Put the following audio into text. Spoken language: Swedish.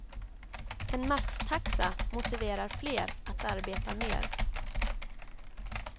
En maxtaxa motiverar fler att arbeta mer.